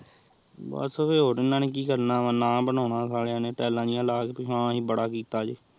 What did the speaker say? ਬਾਸ ਵੇ ਹੋਰ ਇਹਨਾ ਨੇ ਕੀ ਕਰਨਾ ਵੇ ਨਾ ਬਨਾਨਾ ਵੇ ਸਲਿਯਾ ਨੇ ਤਾਲਿਯਾ ਜੇਹੀ ਲਾ ਕੇ ਕੀ ਕੀ ਆਹ ਅਸੀਂ ਬੜਾ ਕੀਤਾ ਜੇਹ